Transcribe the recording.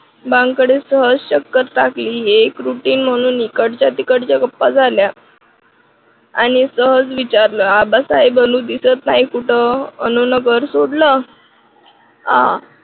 बांकडे सहज चक्कर टाकली ही एक routine म्हणून इकडच्या तिकडच्या गप्पा झाल्या. आणि सहज विचारलं आबासाहेब अनु दिसत नाही कुठं अनुन घर सोडलं आह